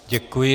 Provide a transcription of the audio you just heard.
Děkuji.